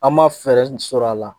An ma fɛɛrɛ sɔrɔ a la